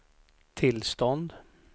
tillstånd